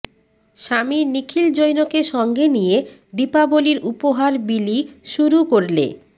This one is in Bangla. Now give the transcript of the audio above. স্বামী নিখিল জৈনকে সঙ্গে নিয়ে দীপাবলির উপহার বিলি শুরু করলে